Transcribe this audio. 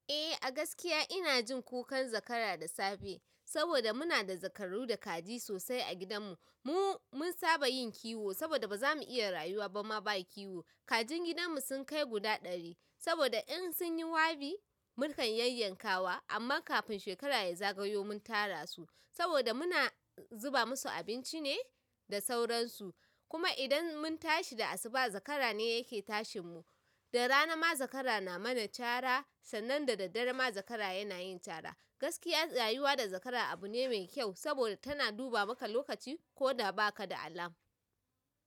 Eh, a gaskiya ina jin kukan zakara da safe saboda muna da zakaru da kaji sosai a gidanmu. Mu mun saba yin kiwo. Saboda baza mu iya rayuwa ba ma ba kiwo. Kajin gidanmu sun kai guda ɗari saboda in sun yi wabi, mu kan yayyankasu. Amma kafin shekara ya zagayo mun tara su saboda muna zuba musu abinci ne da sauransu. Kuma idan mun tashi da asuba zakara ne yake tashin mu. Da rana ma zakara na mana cara sannan da dare ma zakara yana yin cara. Gaskiya rayuwa da zakara abu ne mai kyau saboda tana duba maka lokaci ko da ba ka da alam.